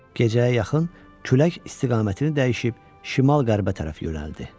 Gecəyə yaxın külək istiqamətini dəyişib şimal-qərbə tərəf yönəldi.